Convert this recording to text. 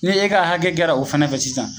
Ni e ka hakɛ kɛra o fɛnɛ fɛ sisan